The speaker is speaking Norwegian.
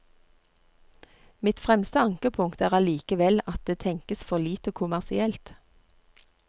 Mitt fremste ankepunkt er allikevel at det tenkes for lite kommersielt.